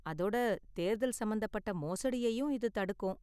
அதோட தேர்தல் சம்பந்தப்பட்ட மோசடியையும் இது தடுக்கும்.